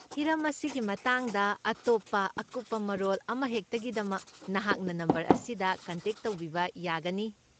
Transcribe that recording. ꯍꯤꯔꯝ ꯑꯁꯤꯒꯤ ꯃꯇꯥꯡꯗ ꯑꯇꯣꯞꯄ ꯑꯀꯨꯞꯄ ꯃꯔꯣꯜ ꯑꯃꯍꯦꯛꯇꯒꯤꯗꯃꯛ ꯅꯍꯥꯛꯅ ꯅꯝꯕꯔ ꯑꯁꯤꯗ ꯀꯟꯇꯦꯛ ꯇꯧꯕꯤꯕ ꯌꯥꯒꯅꯤ꯫